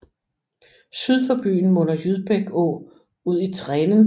Syd for byen munder Jydbæk Å i Trenen